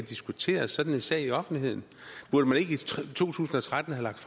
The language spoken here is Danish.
diskuteret sådan en sag i offentligheden burde man ikke i to tusind og tretten have lagt